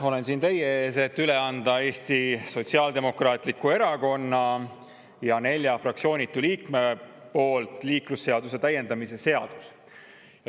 Olen siin teie ees, et üle anda Eesti Sotsiaaldemokraatliku Erakonna ja nelja fraktsioonitu liikme nimel liiklusseaduse täiendamise seadus.